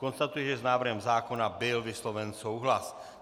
Konstatuji, že s návrhem zákona byl vysloven souhlas.